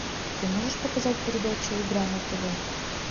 ты можешь показать передачу игра на тв